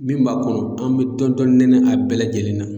Min b'a kɔnɔ an bɛ dɔɔnin dɔɔnin nɛnɛ a bɛɛ lajɛlen na.